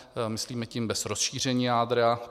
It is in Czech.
Myslíme tím bez rozšíření jádra.